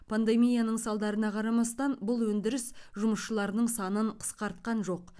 пандемияның салдарына қарамастан бұл өндіріс жұмысшыларының санын қысқартқан жоқ